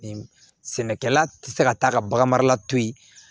Sɛnɛkɛla tɛ se ka taa ka bagan mara la to yen